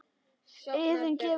Iðunn gefur út.